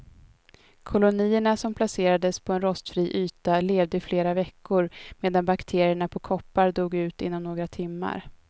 Kolonierna som placerades på en rostfri yta levde i flera veckor medan bakterierna på koppar dog ut inom några timmar.